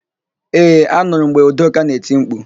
Ee, anụrụ m mgbe Udoka na-eti mkpu.